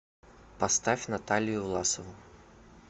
поставь наталию власову